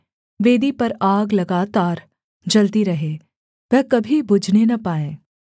वेदी पर आग लगातार जलती रहे वह कभी बुझने न पाए